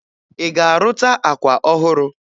Ị ga-arụta akwa ọhụrụ?